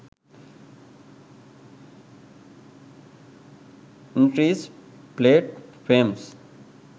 license plate frames